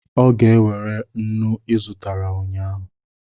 Ọ ga-ewere nnu ị zụtara ụnyahụ